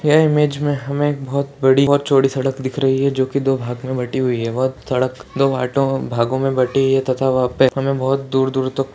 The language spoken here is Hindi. ये इमेज में हमे बोहोत बड़ी और चौड़ी सड़क दिख रही है जो कि दो भाग मे बटी हुई है वो सड़क दो भाटो-भागो में बटी है तथा वह पर हमे बोहोत दूर दूर तक --